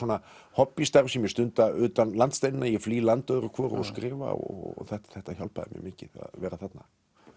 hobbí starf sem ég stunda utan landsteinana ég flý land öðru hvoru og skrifa og þetta þetta hjálpaði mér mikið að vera þarna